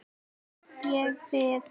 Þess ég bið.